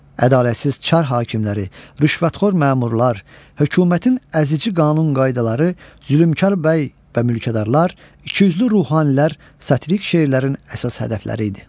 Ədalətsiz çar hakimləri, rüşvətxor məmurlar, hökumətin əzici qanun-qaydaları, zülmkar bəy və mülkədarlar, ikiyüzlü ruhanilər satirik şeirlərin əsas hədəfləri idi.